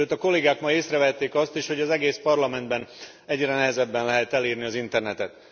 Sőt a kollégák ma észrevették azt is, hogy az egész Parlamentben egyre nehezebben lehet elérni az internetet.